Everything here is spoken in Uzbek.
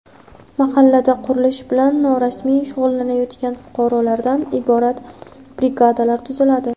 Mahallada qurilish bilan norasmiy shug‘ullanayotgan fuqarolardan iborat brigadalar tuziladi.